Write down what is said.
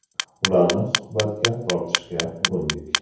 Ularni suhbatga tortishga urindik.